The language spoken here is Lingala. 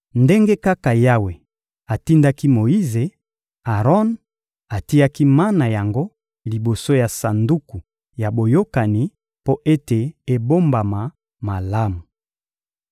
Ndenge kaka Yawe atindaki Moyize, Aron atiaki mana yango liboso ya Sanduku ya Boyokani mpo ete ebombama malamu.